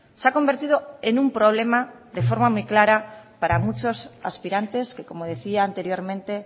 se ha convertido en un problema de forma muy clara para muchos aspirantes que como decía anteriormente